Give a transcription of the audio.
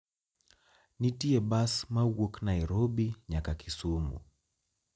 nitie bas mawuok nairobi nyaka kisumu